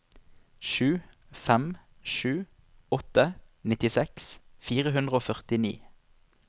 sju fem sju åtte nittiseks fire hundre og førtini